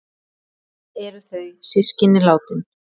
Öll eru þau systkin látin.